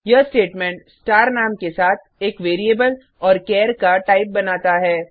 यह statement star नाम के साथ एक वेरिएबल और चार का टाइप बनाता है